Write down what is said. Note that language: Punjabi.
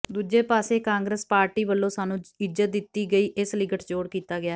ਦੂਜੇ ਪਾਸੇ ਕਾਂਗਰਸ ਪਾਰਟੀ ਵਲੋਂ ਸਾਨੂੰ ਇੱਜਤ ਦਿਤੀ ਗਈ ਇਸ ਲਈ ਗਠਜੋੜ ਕੀਤਾ ਗਿਆ ਹੈ